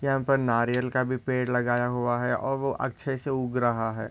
यहाँ पर नारियल का भी पेड़ लगाया हुआ है। और वो अच्छे से उग रहा है।